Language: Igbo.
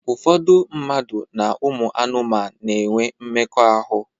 Ụfọdụ mmadụ na ụmụ anụmanu na-enwe mmekọahụ.